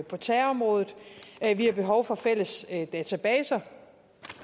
på terrorområdet vi har behov for fælles databaser